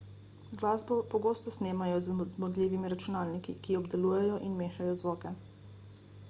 glasbo pogosto snemajo z zmogljivimi računalniki ki obdelujejo in mešajo zvoke